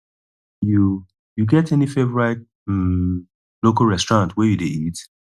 you you get any favorite um local restaurant where you dey eat